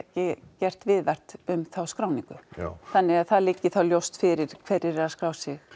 gert viðvart um þá skráningu já þannig að það liggi þá ljóst fyrir hverjir eru að skrá sig